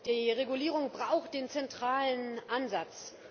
Die Regulierung braucht den zentralen Ansatz.